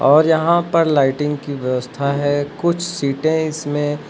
और यहां पर लाइटिंग की व्यवस्था है कुछ सीटे है इसमें--